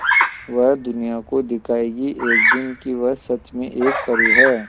वह दुनिया को दिखाएगी एक दिन कि वह सच में एक परी है